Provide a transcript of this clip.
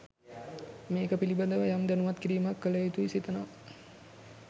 මේක පිලිබඳව යම් දැනුවත් කිරිමක් කලයුතුයි සිතනවා.